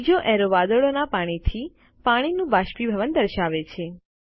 ત્રીજો એરો વાદળોના પાણીથી પાણીનું બાષ્પીભવન દર્શાવે છે